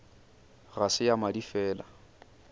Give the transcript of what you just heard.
ga se ya madi fela